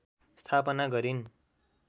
स्थापना गरिन्